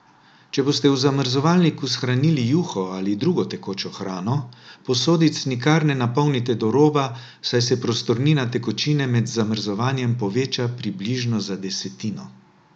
Če boste v zamrzovalniku shranili juho ali drugo tekočo hrano, posodic nikar ne napolnite do roba, saj se prostornina tekočine med zamrzovanjem poveča približno za desetino.